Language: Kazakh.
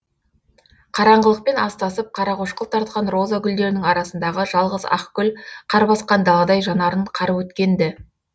қараңғылықпен астасып қарақошқыл тартқан роза гүлдерінің арасындағы жалғыз ақ гүл қар басқан даладай жанарын қарып өткен ді